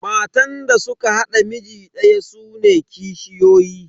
Matan da suka haɗa miji daya sune kishiyoyi.